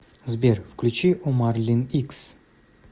сбер включи омар лин икс